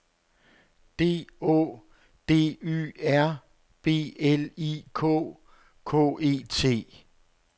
D Å D Y R B L I K K E T